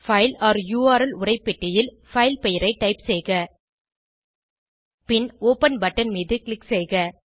file ஒர் URL உரைப்பெட்டியில் file பெயரை டைப் செய்க பின் ஒப்பன் பட்டன் மீது க்ளிக் செய்க